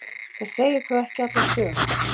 það segir þó ekki alla sögu